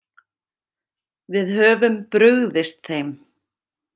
Við höfum brugðist þeim.